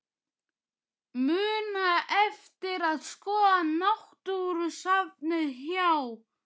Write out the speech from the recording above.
Muna eftir að skoða náttúrusafnið hjá